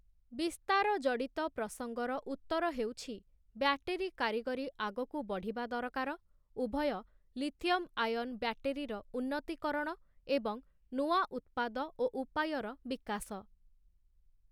ବିସ୍ତାର ଜଡ଼ିତ ପ୍ରସଙ୍ଗର ଉତ୍ତର ହେଉଛି, ବ୍ଯାଟେରୀ କାରିଗରି ଆଗକୁ ବଢ଼ିବା ଦରକାର, ଉଭୟ, ଲିଥିୟମ ଆୟନ ବ୍ଯାଟେରୀର ଉନ୍ନତିକରଣ, ଏବଂ ନୂଆ ଉତ୍ପାଦ ଓ ଉପାୟର ବିକାଶ ।